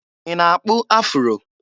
Ị na-akpụ afụro?